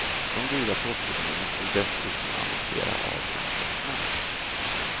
De dyra topplånen måste du dessutom amortera av ganska snabbt.